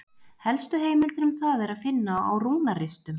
Helstu heimildir um það er að finna á rúnaristum.